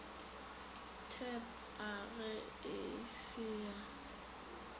tab age e se ya